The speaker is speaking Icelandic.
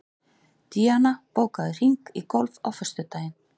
Díanna, bókaðu hring í golf á föstudaginn.